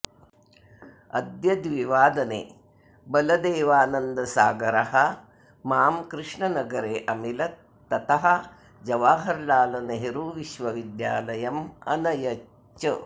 अद्य द्विवादने बलदेवानन्दसागरः मां कृष्णनगरे अमिलत् ततः जवाहरलालनेहरुविश्वविद्यालयं अनयत् च